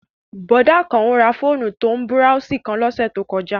Bọ̀dá Àkànó ra fóònù tó ń búráósì kan lọ́sẹ̀ tó kọjá